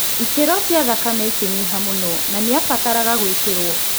Ikĩro cia thakame ikĩnyiha mũno na nĩabataraga gũĩkĩrũo